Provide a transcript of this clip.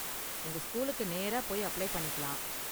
உங்க ஸ்கூலுக்கு நேரா போய் அப்ளை பண்ணிக்கலாம்.